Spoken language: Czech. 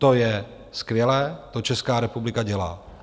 To je skvělé, to Česká republika dělá.